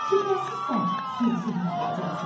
şübhəsiz sən sürüşüb yıxılacaqsan.